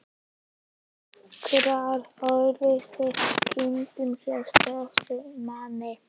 Nokkrar óvinsælar kindur hjá stöku manni.